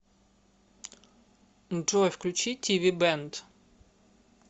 джой включи ти ви бэнд